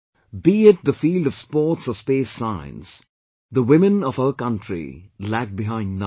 Be it the field of sports or space science, the women of our country lag behind none